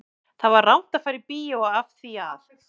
Það var rangt að fara í bíó af því að